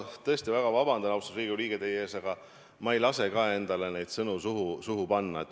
Ma tõesti väga vabandan, austatud Riigikogu liige, teie ees, aga ma ei lase endale neid sõnu suhu panna.